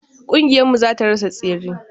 Kingiyar mu zata rasa tseren.